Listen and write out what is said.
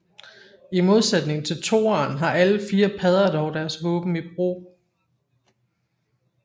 I modsætning til toeren har alle fire padder dog deres våben i brug